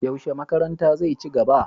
Yaushe makaranta zai ci gaba?